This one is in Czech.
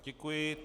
Děkuji.